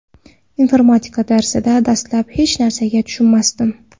Informatika darsida dastlab hech narsaga tushunmasdim.